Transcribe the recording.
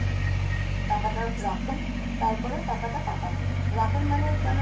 টাকাটা রাখেন, তারপরে টাকাটা কাটা হবে। রাখেন মানে যেন